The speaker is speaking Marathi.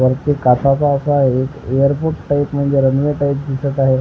वरती काचा काचा आहेत एअरपोर्ट टाईप म्हणजे रनवे टाईप दिसत आहे.